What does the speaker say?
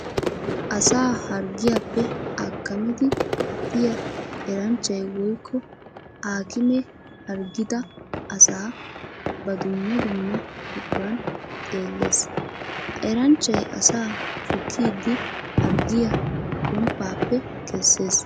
Asaa harggiyappe akkamiddi pattiya eranchchay woykko aakkime harggidda asaa ba dumma dumma buquran xeeles. Ha eranchchay asaa shukkiddi harggiya gomppappe kesees.